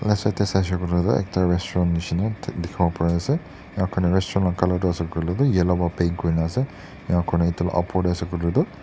right side teh sai se koiley tu ekta restaurant nisna ekta dikhi bo pari ase restaurant laga colour tu ase koi leh tu yellow para paint kuri na ase enka koina etu lah upor teh ase koi leh tu--